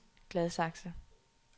Gladsaxe